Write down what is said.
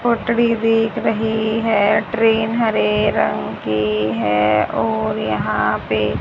बिक रही है ट्रेन हरे रंग की है और यहां पे--